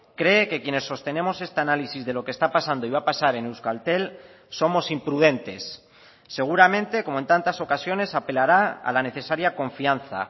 cree que quienes sostenemos este análisis de lo que está pasando y va a pasar en euskaltel somos imprudentes seguramente como en tantas ocasiones apelara a la necesaria confianza